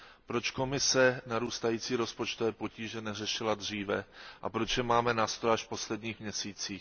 Proč Komise narůstající rozpočtové potíže neřešila dříve a proč je máme na stole až v posledních měsících?